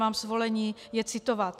Mám svolení je citovat.